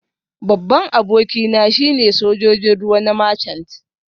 Babban abokina shine Sojojin ruwa na Marchant